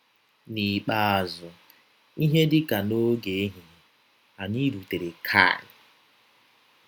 N’ikpeazụ, n’ihe dị ka n’ọge ehihie, anyị rụtere Khayyr.